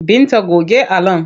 Binta goge allon!